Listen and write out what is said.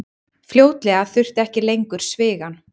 Fljótlega þurfti ekki lengur svigann.